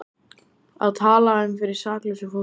Að tala um fyrir saklausu fólki